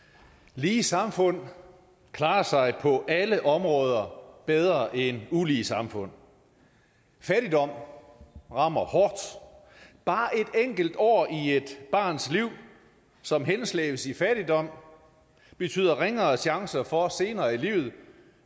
lige samfund klarer sig på alle områder bedre end ulige samfund fattigdom rammer hårdt bare et enkelt år i et barns liv som henslæbes i fattigdom betyder ringere chancer for senere i livet